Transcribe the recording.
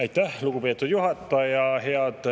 Aitäh, lugupeetud juhataja!